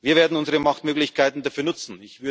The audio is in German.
Wir werden unsere Machtmöglichkeiten dafür nutzen.